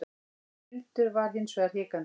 Hildur var hins vegar hikandi.